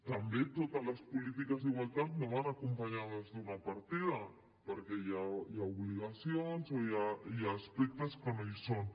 també totes les polítiques d’igualtat no van acompanyades d’una partida perquè hi ha obligacions o hi ha aspectes que no hi són